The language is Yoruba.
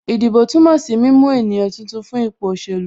Ìdìbò túmọ̀ sí mímú ènìyàn tuntun fún ipò òṣèlú